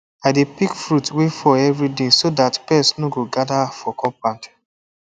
i dey pick fruit wey fall every day so that pest no go gather for compound